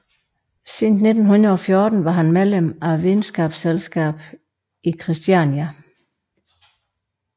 Siden 1914 var han medlem af Videnskabsselskabet i Kristiania